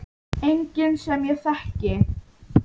Enginn sem ég þekki.